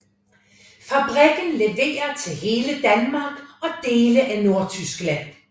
Fabrikken leverer til hele Danmark og dele af Nordtyskland